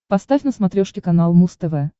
поставь на смотрешке канал муз тв